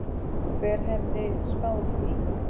Hver hefði spáð því?